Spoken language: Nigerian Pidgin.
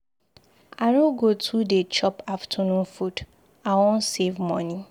I no go too dey chop afternoon food. I wan save money.